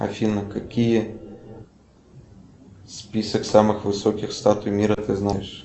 афина какие список самых высоких статуй мира ты знаешь